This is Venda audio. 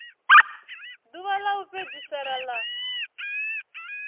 ḓuvha ḽa u fhedzisela ḽa